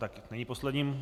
Tak už není poslední.